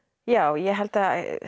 já ég held að